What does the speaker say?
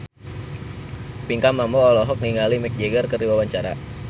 Pinkan Mambo olohok ningali Mick Jagger keur diwawancara